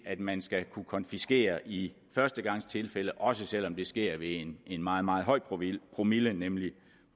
at man skal kunne konfiskere i førstegangstilfælde også selv om det sker ved en meget meget høj promille promille nemlig